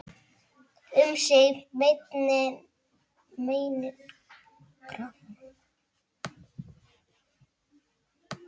Um sig meinin grafa.